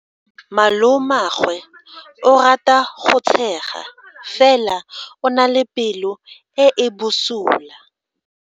Malomagwe o rata go tshega fela o na le pelo e e bosula.